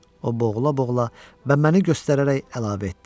O boğula-boğula və məni göstərərək əlavə etdi: